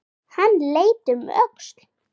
Hann leit um öxl.